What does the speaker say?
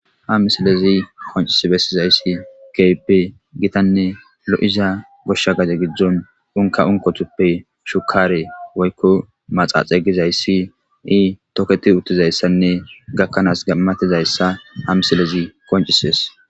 ha misilezi qoncisi bessizayssi keype gitanne lo7iza goshsha gaje giddzon unka unkothuppe shukare woykko maxaaxe gizayssi ii toketi uttizayssanne gakkanaas gammatizayssa ha misilezi koncises